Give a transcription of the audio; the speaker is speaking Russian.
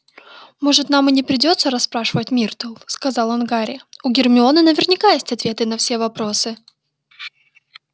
может нам и не придётся расспрашивать миртл сказал он гарри у гермионы наверняка есть ответы на все вопросы